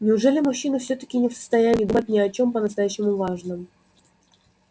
неужели мужчины так-таки не в состоянии думать ни о чём по-настоящему важном